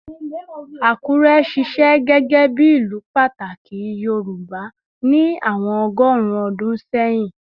Akure ṣiṣẹ gẹgẹbi ilu pataki Yorùbá ni awọn ọgọrun ọdun sẹhin